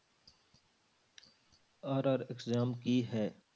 RR exam ਕੀ ਹੈ।